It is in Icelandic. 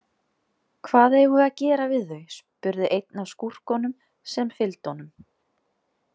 Hvað eigum við að gera við þau, spurði einn af skúrkunum sem fylgdu honum.